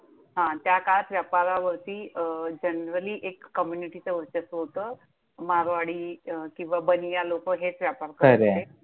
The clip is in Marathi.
त्या काळात व्यापारावरती generally एक कम्युनिटीचं वर्चस्व होतं. मारवाडी किंवा बनिया लोकं हेच व्यापार करायचे. खंरंय.